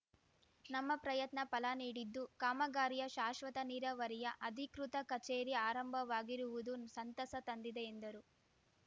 ನಮ್ಮ ಪ್ರಯತ್ನ ಫಲ ನೀಡಿದ್ದು ಕಾಮಗಾರಿಯ ಶಾಶ್ವತ ನೀರಾವರಿಯ ಅಧಿಕೃತ ಕಚೇರಿ ಆರಂಭವಾಗಿರುವುದು ಸಂತಸ ತಂದಿದೆ ಎಂದರು